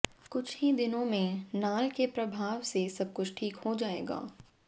कुछ ही दिनों में नाल के प्रभाव से सबकुछ ठीक हो जाएगा